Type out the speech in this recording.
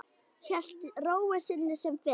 Hélt ró sinni sem fyrr.